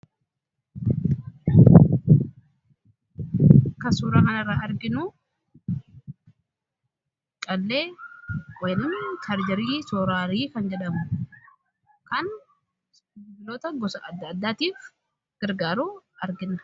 kasuura kan irraa arginuu qallee weln tarjirii sooraarii kan jedhamu kan iloota gosa adda addaatiif gargaaruu arginna